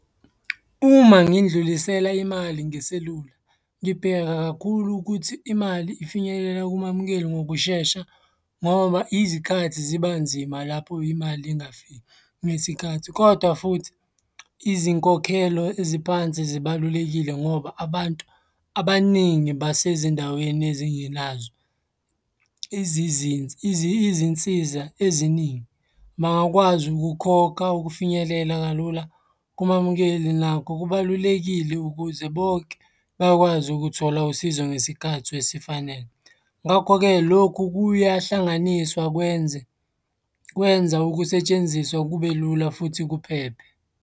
Uma ngindlulisela imali ngeselula, ngibheka kakhulu ukuthi imali ifinyelela kumamukeli ngokushesha ngoba izikhathi ziba nzima lapho imali ingafiki ngesikhathi, kodwa futhi izinkokhelo eziphansi zibalulekile ngoba abantu abaningi basezindaweni ezingenazo izizinsa, izinsiza eziningi. Bangakwazi ukukhokha ukufinyelela kalula kumamukeli nakho kubalulekile ukuze bonke bakwazi ukuthola usizo ngesikhathi esifanele. Ngakho-ke, lokhu kuyahlanganiswa kwenze, kwenza ukusetshenziswa kube lula futhi kuphephe.